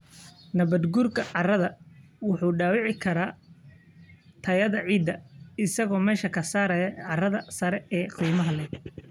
Nabaadguurka carradu wuxuu dhaawici karaa tayada ciidda, isagoo meesha ka saaraya carrada sare ee qiimaha leh.